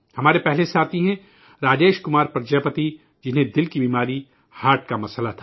ہمارے پہلے ساتھی ہیں راجیش کمار پرجاپتی ہیں، جو عارضہ قلب سے پریشان تھے